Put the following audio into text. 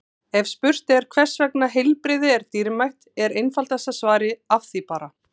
En ef spurt er hvers vegna heilbrigði er dýrmætt er einfaldasta svarið Af því bara!